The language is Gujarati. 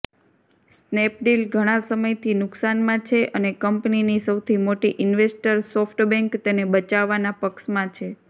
સ્નેપડીલ ઘણાં સમયથી નુકસાનમાં છે અને કંપનીની સૌથી મોટી ઈન્વેસ્ટર સોફ્ટબેંક તેને બચાવવાના પક્ષમાં છે